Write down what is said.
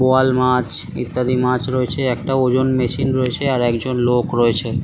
বোয়াল মাছ ইত্যাদি মাছ রয়েছে আর একটা ওজন মেশিন রয়েছে আর একটা লোক রয়েছে ।